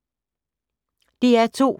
DR2